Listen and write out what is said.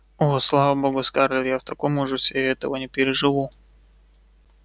о слава богу скарлетт я в таком ужасе я этого не переживу